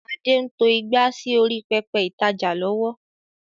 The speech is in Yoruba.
Adé ń to ìgbà sì orí pẹpẹ ìtajà lọ́wọ́